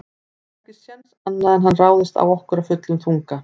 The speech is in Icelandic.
Það er ekki séns annað en hann ráðist á okkur af fullum þunga.